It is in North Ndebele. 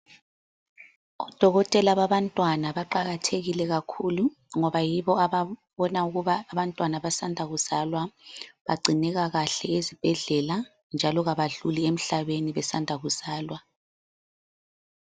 Odokotela babantwana baqakathekile kakhulu, ngoba yibo ababona ukuba abantwana abasanda kuzalwa, bagcinekakahle ezibhedlela, njalo kabadluli emhlabeni besanda kuzalwa.